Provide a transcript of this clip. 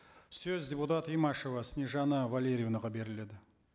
сөз депутат имашева снежанна валерьевнаға беріледі